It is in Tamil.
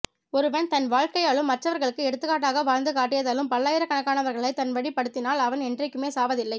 ஒருவன் தன் வாழ்க்கையாலும் மற்றவர்களுக்கு எடுத்துக்காட்டாக வாழ்ந்து காட்டியதாலும் பல்லாயிரக் கணக்கானவர்களை தன் வழிப் படுத்தினால் அவன் என்றைக்குமே சாவதில்லை